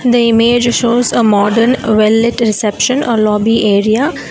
the image shows a modern well lit reception or lobby area.